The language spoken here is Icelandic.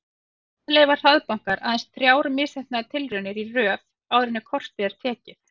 Þannig leyfa hraðbankar aðeins þrjár misheppnaðar tilraunir í röð áður en kort er tekið.